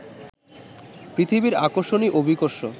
পৃথিবীর আকর্ষণই অভিকর্ষ